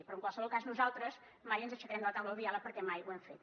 però en qualsevol cas nosaltres mai ens aixecarem de la taula del diàleg perquè mai ho hem fet